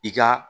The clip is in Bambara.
I ka